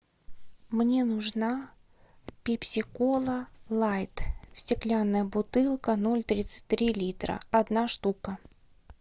мне нужна пепси кола лайт стеклянная бутылка ноль тридцать три литра одна штука